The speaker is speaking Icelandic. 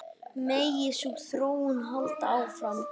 Megi sú þróun halda áfram.